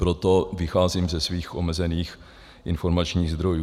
Proto vycházím ze svých omezených informačních zdrojů.